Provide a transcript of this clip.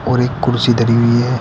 और एक कुर्सी धारी हुई है।